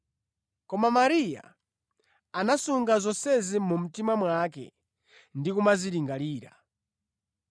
Koma Mariya anasunga zonsezi mu mtima mwake ndi kumazilingalira.